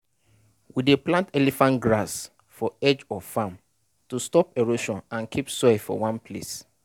we dey plant elephant grass for edge of farm to stop erosion and keep soil for one place.